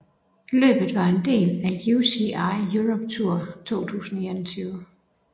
Løbet var en del af UCI Europe Tour 2021